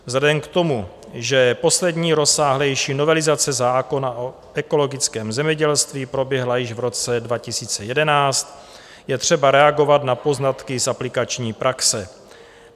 Vzhledem k tomu, že poslední rozsáhlejší novelizace zákona o ekologickém zemědělství proběhla již v roce 2011, je třeba reagovat na poznatky z aplikační praxe.